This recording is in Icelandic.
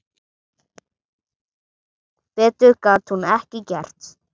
Betur gat hún ekki gert.